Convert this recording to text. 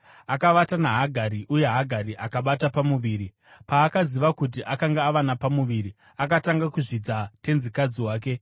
Akavata naHagari uye Hagari akabata pamuviri. Paakaziva kuti akanga ava napamuviri, akatanga kuzvidza tenzikadzi wake.